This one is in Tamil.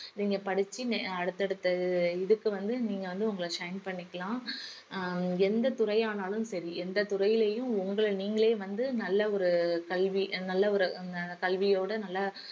நீங்க படிச்சு அடுத்தடுத்த இதுக்கு வந்து நீங்க வந்து உங்கள shine பண்ணிக்கலாம் ஹம் எந்தத் துறையானாலும் சரி எந்தத் துறையிலையும் உங்கள நீங்களே வந்து நல்ல ஒரு கல்வி நல்ல ஒரு ஹம் கல்வியோட நல்லா